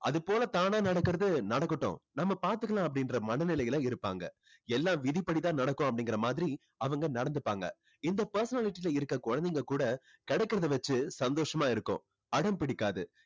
அதுபோல தானா நடக்கிறது நடக்கட்டும் நம்ம பாத்துக்கலாம் அப்படின்ற மனநிலையில இருப்பாங்க. எல்லாம் விதிப்படிதான் நடக்கும் அப்படிங்குற மாதிரி அவங்க நடந்துப்பாங்க. இந்த personality ல இருக்க குழந்தைங்க கூட கிடைக்கிறதை வச்சு சந்தோஷமா இருக்கும். அடம் பிடிக்காது.